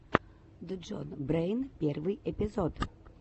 джон брэйн первый эпизод